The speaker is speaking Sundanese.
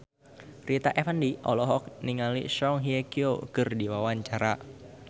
Rita Effendy olohok ningali Song Hye Kyo keur diwawancara